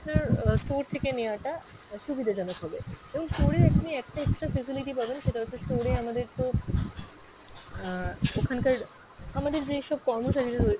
আহ store থেকে নেওয়া টা সুবিধা জনক হবে। এবং store এ আপনি একটা extra facility পাবেন সেটা হচ্ছে store এ আমাদের তো আহ ওখানকার আমাদের যে সব কর্মচারীরা রয়েছেন,